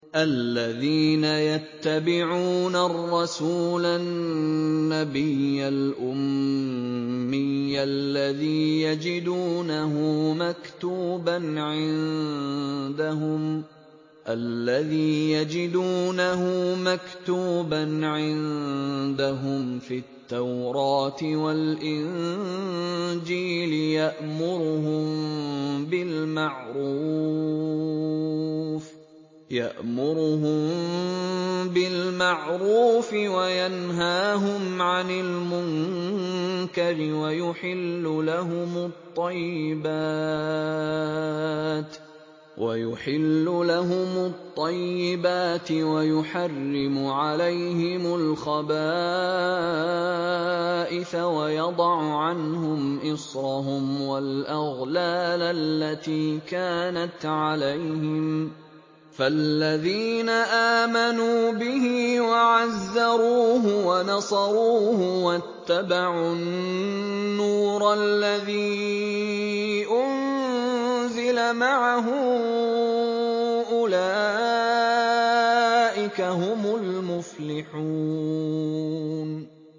الَّذِينَ يَتَّبِعُونَ الرَّسُولَ النَّبِيَّ الْأُمِّيَّ الَّذِي يَجِدُونَهُ مَكْتُوبًا عِندَهُمْ فِي التَّوْرَاةِ وَالْإِنجِيلِ يَأْمُرُهُم بِالْمَعْرُوفِ وَيَنْهَاهُمْ عَنِ الْمُنكَرِ وَيُحِلُّ لَهُمُ الطَّيِّبَاتِ وَيُحَرِّمُ عَلَيْهِمُ الْخَبَائِثَ وَيَضَعُ عَنْهُمْ إِصْرَهُمْ وَالْأَغْلَالَ الَّتِي كَانَتْ عَلَيْهِمْ ۚ فَالَّذِينَ آمَنُوا بِهِ وَعَزَّرُوهُ وَنَصَرُوهُ وَاتَّبَعُوا النُّورَ الَّذِي أُنزِلَ مَعَهُ ۙ أُولَٰئِكَ هُمُ الْمُفْلِحُونَ